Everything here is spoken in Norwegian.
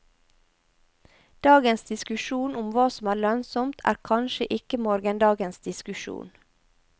Dagens diskusjon om hva som er lønnsomt, er kanskje ikke morgendagens diskusjon.